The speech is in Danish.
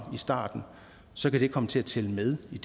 i starten så kan det komme til at tælle med i